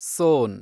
ಸೋನ್